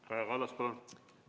Kaja Kallas, palun!